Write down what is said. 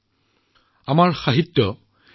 লগতে তেখেতলৈ মোৰ আন্তৰিক শ্ৰদ্ধাঞ্জলি